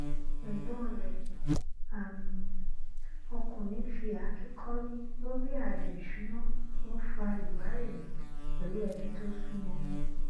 ẹgbọn rẹ um ọkùnrin fi fi àáké kọrí lórí ààyò ìṣúná n fa ìwárìrì pẹlú ẹbí tó súnmọ